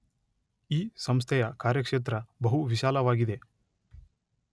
ಈ ಸಂಸ್ಥೆಯ ಕಾರ್ಯಕ್ಷೇತ್ರ ಬಹು ವಿಶಾಲವಾಗಿದೆ.